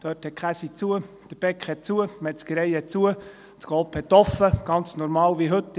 Dort ist die Käserei zu, die Bäckerei ist zu, die Metzgerei ist zu, Coop ist offen, ganz normal, wie heute;